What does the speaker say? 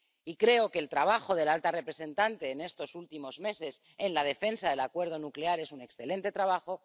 Y creo que el trabajo de la alta representante en estos últimos meses en la defensa del acuerdo nuclear es un excelente trabajo.